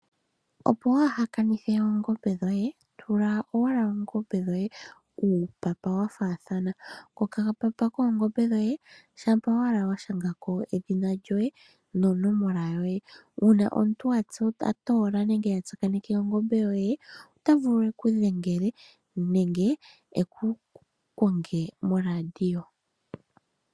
Opo waaha kanithe oongombe dhoye tula owala ongombe dhoye uupapa wa faathana , kokapapa koongombe dhoye shampa owala wa shanga ko edhina lyoye nonomola yoye. Uuna omuntu a toola nenge a tsakaneke ongombe yoye ota vulu e ku dhengele nenge e ku konge moradio.